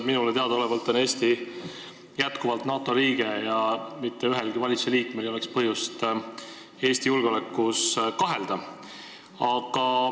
Minule teadaolevalt on Eesti jätkuvalt NATO liige ja mitte ühelgi valitsusliikmel ei ole põhjust Eesti julgeolekus kahelda.